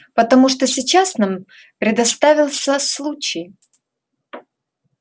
потому что сейчас нам предоставился случай